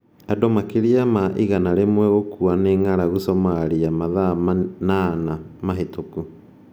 Andũ makĩria ma 100 gũkua nĩ ng'aragu Somalia mathaa manana mĩhĩtũku